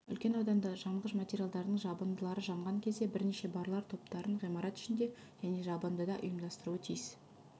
үлкен ауданды жанғыш материалдардың жабындылары жанған кезде бірнеше барлау топтарын ғимарат ішінде және жабындыда ұйымдастыруы тиіс